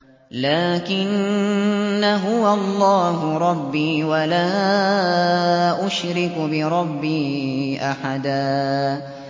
لَّٰكِنَّا هُوَ اللَّهُ رَبِّي وَلَا أُشْرِكُ بِرَبِّي أَحَدًا